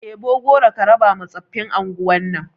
Ɗebo goro ka raba ma tsofin anguwan nan